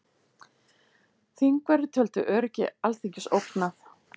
Þingverðir töldu öryggi Alþingis ógnað